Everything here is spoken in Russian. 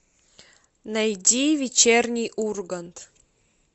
найди вечерний ургант